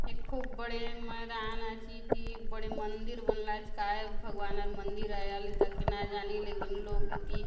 ये खूब बड़े मैदान आचे इति बड़े मंदिर बनला आचे काय भगवानर मंदिर आय आले ताके ना जानी लेकिन लोग इति --